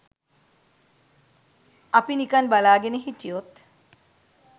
අපි නිකන් බලාගෙන හිටියොත්